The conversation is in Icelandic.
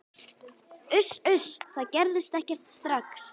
Uss, uss, það gerist ekkert strax.